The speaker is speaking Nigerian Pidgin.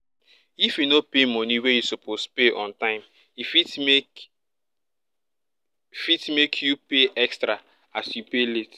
if you no pay money wey you suppose pay on time e fit make fit make you pay extra money as you pay late